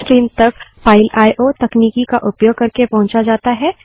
streams तक file IO तकनीकी का उपयोग करके पहुंचा जाता हैं